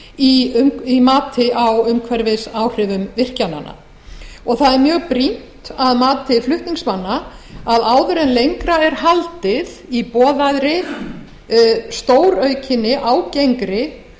vanmetið í mati á umhverfisáhrifum virkjananna það er mjög brýnt að mati flutningsmanna að áður en lengra er haldið í boðaðri stóraukinni ágengri